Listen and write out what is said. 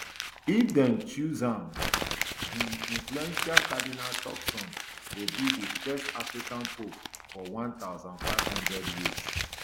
if dem choose am um di influential cardinal turkson go be di first african pope for one thousand, five hundred years